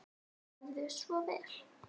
Gerðu svo vel.